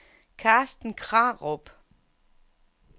Carsten Krarup